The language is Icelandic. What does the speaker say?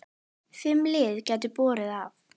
Fimm lið gætu borið af.